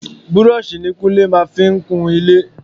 Búrọ́ọ̀sì ní Kúnlé máa ń fi kun ilé.